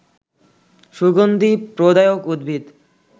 সুগন্ধি প্রদায়ক উদ্ভিদ